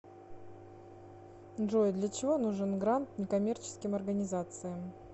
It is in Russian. джой для чего нужен грант неккоммерческим организациям